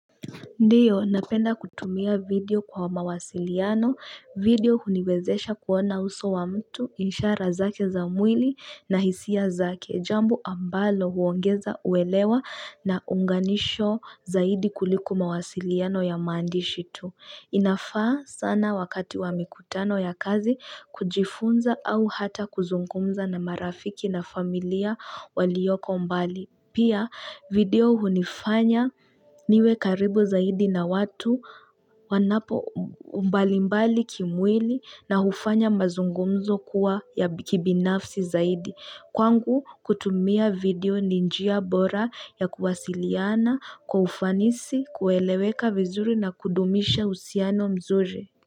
Ndiyo, napenda kutumia video kwa mawasiliano, video huniwezesha kuona uso wa mtu, ishara zake za mwili na hisia zake, jambo ambalo huongeza uelewa na unganisho zaidi kuliko mawasiliano ya maandishi tu inafaa sana wakati wa mikutano ya kazi kujifunza au hata kuzungumza na marafiki na familia walioko mbali. Pia video hunifanya niwe karibu zaidi na watu wanapo mbalimbali kimwili na hufanya mazungumzo kuwa ya kibinafsi zaidi. Kwangu kutumia video ni njia bora ya kuwasiliana kwa ufanisi kueleweka vizuri na kudumisha uhusiano mzuri.